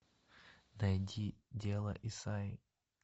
найди дело исайи